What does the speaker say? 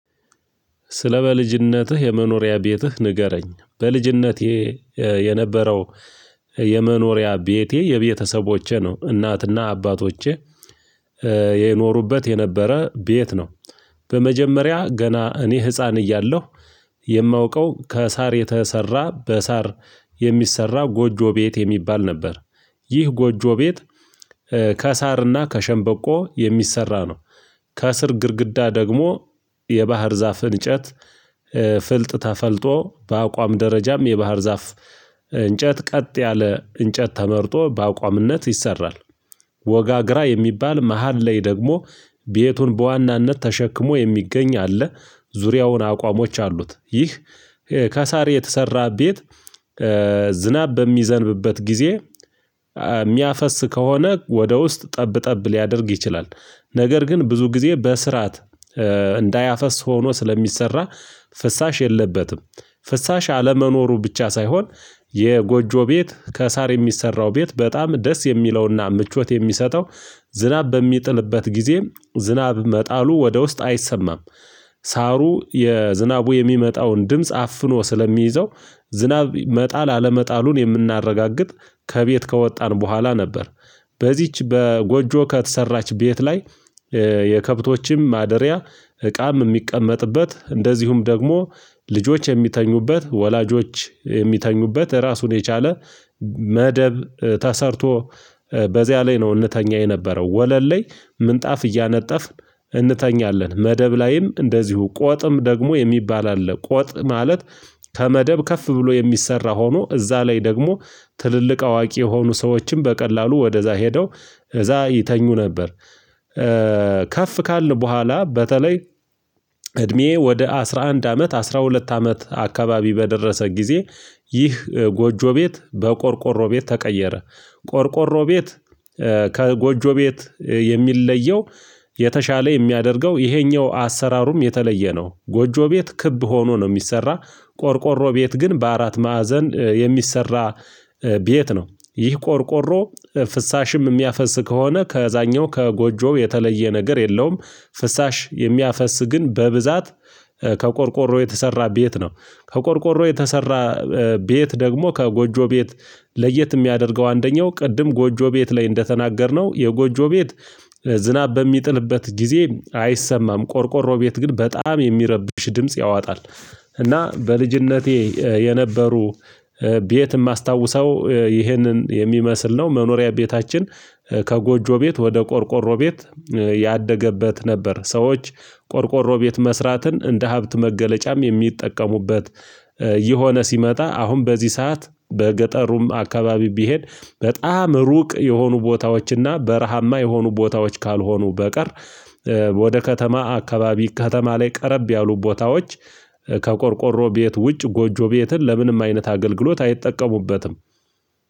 ስለ በልጅነትህ የመኖሪያ ቤትህ ንገረኝ በልጅነቴ የነበረው የመኖሪያ ቤቴ የቤተሰቦቼ ነው እናትና አባቶቼ የኖሩበት የነበረ ቤት ነው። በመጀመሪያ ገና እኔ ህፃን እያለሁ የማውቀው ከሳር የተሰራ በሳር የሚሰራ ጎጆ ቤት የሚባል ነበር። ይህ ጎጆ ቤት ከሳርና ከሸንበቆ የሚሰራ ነው። ከእስር ግድግዳ ደግሞ የባህር ዛፍ እንጨት ፍልጥ ተፈልጦ በአቋም ደረጃም የባህር ዛፍ እንጨት ቀጥ ያለ እንጨት ተመርጦ በአቋምነት ይሰራል። ወጋግራ የሚባል መሃል ላይ ደግሞ ቤቱን በዋናነት ተሸክሞ የሚገኝ አለ። ዙሪያውን አቋሞች አሉት ይህ ከሳሪ የተሰራ ቤት። ዝናብ በሚዘንብበት ጊዜ ሚያፈስ ከሆነ ወደ ውስጥ ጠብ ጠብ ሊያደርግ ይችላል። ነገር ግን ብዙ ጊዜ በስርዓት እንዳያፈስ ሆኖ ስለሚሰራ ፍሳሽ የለበትም። ፍሳሽ አለመኖሩ ብቻ ሳይሆን የጎጆ ቤት ከሳር የሚሰራው ቤት በጣም ደስ የሚለውና ምቾት የሚሰጠው። ዝናብ በሚጥልበት ጊዜ ዝናብ መጣሉ ወደ ውስጥ አይሰማም። ሳሩ የዝናቡ የሚመጣውን ድምጽ አፍኖ ስለሚይዘው። ዝናብ መጣል አለመጣሉን የምናረጋግጥ ከቤት ከወጣን በኋላ ነበር። በዚች በጎጆ ከተሰራች ቤት ላይ የከብቶችም ማደሪያ እቃም የሚቀመጥበት እንደዚሁም ደግሞ ልጆች የሚተኙበት ወላጆች የሚተኙበት ራሱን የቻለ። መደብ ተሰርቶ በዛ ላይ ነው እንተኛ የነበረው ወለል ላይ ምንጣፍ እያነጠፍን እንተኛለን መደብ ላይም እንደዚሁ ቆጥም ደግሞ የሚባል አለ። ቆጥ ማለት ከመደብ ከፍ ብሎ የሚሰራ ሆኖ እዛ ላይ ደግሞ ትልልቅ አዋቂ የሆኑ ሰዎችን በቀላሉ ወደዛ ሄደው እዛ ይተኙ ነበር። ከፍ ካልን በኋላ በተለይ እድሜዬ ወደ አስራ አንድ አመት አስራ ሁለት አመት አካባቢ በደረሰ ጊዜ ይህ ጎጆ ቤት በቆርቆሮ ቤት ተቀየረ። ቆርቆሮ ቤት ከጎጆ ቤት የሚለየው የተሻለ የሚያደርገው ይሄኛው አሰራሩም የተለየ ነው። ጎጆ ቤት ክብ ሆኖ ነው የሚሰራ ቆርቆሮ ቤት ግን በአራት ማዕዘን የሚሰራ ቤት ነው። ይህ ቆርቆሮ ፍሳሽም የሚያፈስ ከሆነ ከዛኛው ከጎጆው የተለየ ነገር የለውም። ፍሳሽ የሚያፈስ ግን በብዛት ከቆርቆሮ የተሰራ ቤት ነው። ከቆርቆሮ የተሰራ ቤት ደግሞ ከጎጆ ቤት ለየት የሚያደርገው አንደኛው ቅድም ጎጆ ቤት ላይ እንደተናገርነው የጎጆ ቤት ዝናብ በሚጥልበት ጊዜ አይሰማም ቆርቆሮ ቤት ግን በጣም የሚረብሽ ድምጽ ያዋጣል። እና በልጅነቴ የነበሩ ቤት ማስታውሰው ይህንን የሚመስል ነው መኖሪያ ቤታችን። ከጎጆ ቤት ወደ ቆርቆሮ ቤት ያደገበት ነበር። ሰዎች ቆርቆሮ ቤት መስራትን እንደ ሀብት መገለጫም የሚጠቀሙበት። ዕየሆነ ሲመጣ አሁን በዚህ ሰዓት በገጠሩም አካባቢ ቢሄድ በጣም ሩቅ የሆኑ ቦታዎችና በረሃማ የሆኑ ቦታዎች ካልሆኑ በቀር። ወደ ከተማ አካባቢ ከተማ ላይ ቀረብ ያሉ ቦታዎች። ከቆርቆሮ ቤት ውጭ ጎጆ ቤትን ለምንም አይነት አገልግሎት አይጠቀሙበትም።